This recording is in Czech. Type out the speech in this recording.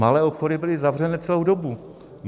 Malé obchody byly zavřené celou dobu.